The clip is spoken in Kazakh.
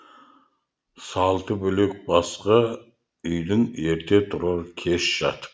салты бөлек басқа үйдің ерте тұрар кеш жатып